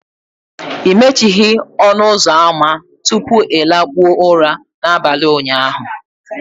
ị mechighị ọnụ ụzọ ámá tupu ị lakpuo ụra n'abalị ụnyaahụ